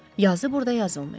Yazı burda yazılmayıb.